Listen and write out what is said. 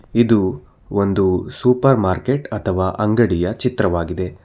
ಇದು ಒಂದು supermarket ಅಥವಾ ಅಂಗಡಿಯ ಚಿತ್ರವಾಗಿದೆ.